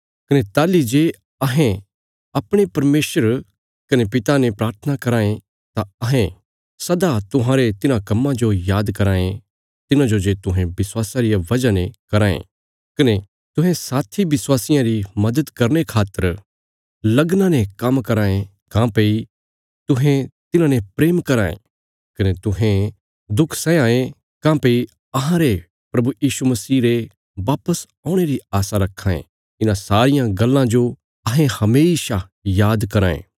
कने ताहली जे अहें अपणे परमेशर कने पिता ने प्राथना कराँ ये तां अहें सदा तुहांरे तिन्हां कम्मां जो आद कराँ ये तिन्हांजो जे तुहें विश्वासा रिया वजह ने कराँ ये कने तुहें साथी विश्वासियां री मदद करने खातर लगना ने काम्म कराँ ये काँह्भई तुहें तिन्हांने प्रेम कराँ ये कने तुहें दुख सैया यें काँह्भई अहांरे प्रभु यीशु मसीह रे वापस औणे री आशा रखां ये इन्हां सारियां गल्लां जो अहें हमेशा याद कराँ ये